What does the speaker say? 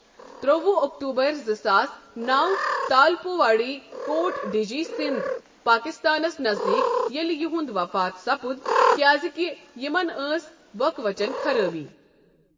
ترٛوُہ اوکتوبر زٕ ساس نَو تالپور واڈی کوٹ ڈِجی سِندھ، پٲکستانس نزدیک، ییٚلہِ یہوٚنٛد وفات سپُد، کیازِ کہِ یِمن ٲس بۄکہٕ وچن خرٲبی.